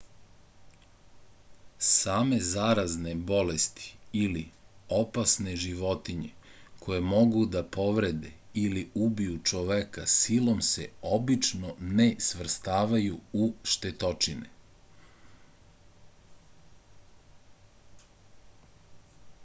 same zarazne bolesti ili opasne životinje koje mogu da povrede ili ubiju čoveka silom se obično ne stvrstavaju u štetočine